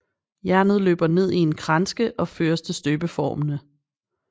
Jernet løber ned i en kranske og føres til støbeformene